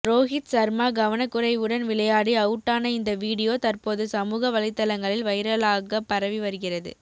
ரோஹித் சர்மா கவனக்குறைவுடன் விளையாடி அவுட்டான இந்த வீடியோ தற்போது சமூக வலைதளங்களில் வைரலாக பரவி வருகிறது